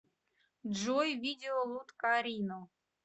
джой видео луткарино